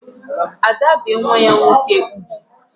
Ada bee nwa ya nwoke ugwu